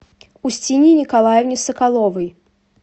устинье николаевне соколовой